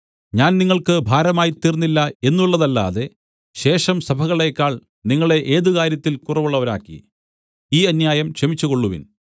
ഞാൻ നിങ്ങൾക്ക് ഭാരമായിത്തീർന്നില്ല എന്നുള്ളതല്ലാതെ ശേഷം സഭകളേക്കാൾ നിങ്ങളെ ഏതുകാര്യത്തിൽ കുറവുള്ളവരാക്കി ഈ അന്യായം ക്ഷമിച്ചുകൊള്ളുവിൻ